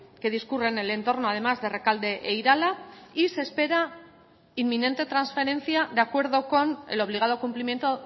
que discurre en el entorno además de rekalde e irala y se espera inminente transferencia de acuerdo con el obligado cumplimiento